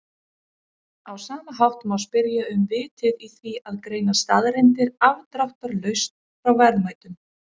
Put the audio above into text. Á sama hátt má spyrja um vitið í því að greina staðreyndir afdráttarlaust frá verðmætum.